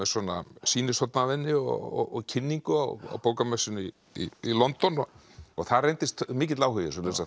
sýnishorn af henni og kynningu á bókamessunni í London og það reyndist mikill áhugi